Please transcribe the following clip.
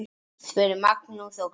spurði Magnús og glotti.